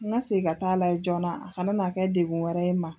N ka se ka t taa layɛ joona a ka na n'a kɛ degun wɛrɛ n ma.